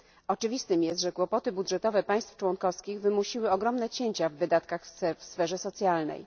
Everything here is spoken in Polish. Oczywistym jest, że kłopoty budżetowe państw członkowskich wymusiły ogromne cięcia w wydatkach w sferze socjalnej.